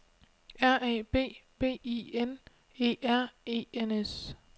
R A B B I N E R E N S